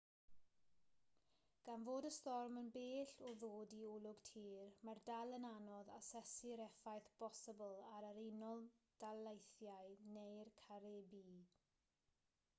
gan fod y storm yn bell o ddod i olwg tir mae'n dal yn anodd asesu'r effaith bosibl ar yr unol daleithiau neu'r caribî